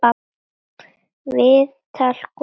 Viðtal Gústafs